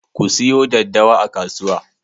Ku siyo daddawa a kasuwa.